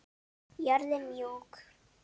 Jörðin mjúk.